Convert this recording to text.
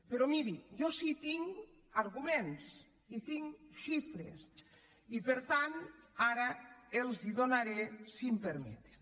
però mirin jo sí que tinc arguments i tinc xifres i per tant ara els les donaré si m’ho permeten